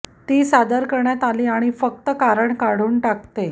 तो जे तो सादर करण्यात आली आणि फक्त कारण काढून टाकते